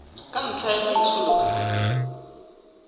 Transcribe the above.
ka ntlha ya maitsholo a